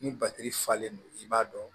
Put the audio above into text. Ni batiri falen don i b'a dɔn